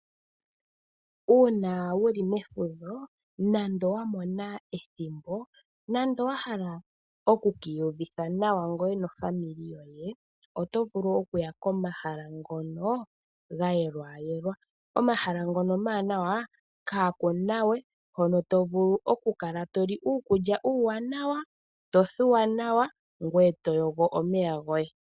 Uuna wuli mefudho nando wamona ethimbo nando wahala oku kiyuvitha nawa ngweye nofamili yoye oto vulu okuya komahala ngono gayelwa yelwa, omahala ngono omanawa kakunawe hono to vulu oku kala toli uukulya uwanawa, tothuwa nawa ngweye toyogo omeya goye.